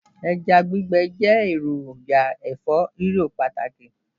Ẹja gbígbẹ jẹ́ èròjà ẹ̀fọ́-rírò pàtàkì